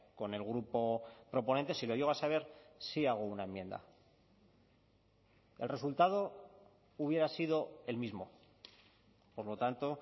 con el grupo proponente si lo llego a saber sí hago una enmienda el resultado hubiera sido el mismo por lo tanto